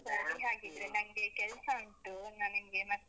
ಸರಿ ಹಾಗಿದ್ರೆ. ನನ್ಗೆ ಕೆಲ್ಸ ಉಂಟು ನಾನು ನಿಮ್ಗೆ ಮತ್ತೆ.